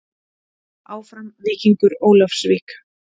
Áfram Víkingur Ólafsvík.